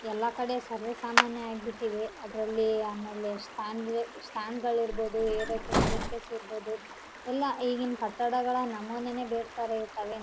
ಎಲ್ಲ ಕಡೆ ಸರ್ವೆ ಸಾಮಾನ್ಯಾ ಆಗ್ಬಿಟ್ಟಿದೆ ಅದರಲ್ಲಿ ಆಮೇಲೆ ಸ್ಟಾಂಡ್ ಸ್ಟ್ಯಾಂಡ್ ಗಳು ಇರಬಹುದು ಏರೋಕೆ ಸ್ಟೇರ್ಕೇಸ್ ಇರಬಹುದು ಎಲ್ಲಾ ಈಗಿನ ಕಟ್ಟಡಗಳ ನಮೂನೆನೆ ಬೇರೆ ತರ ಇರುತ್ತೆ.